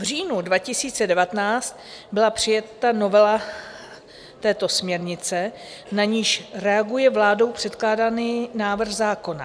V říjnu 2019 byla přijata novela této směrnice, na niž reaguje vládou předkládaný návrh zákona.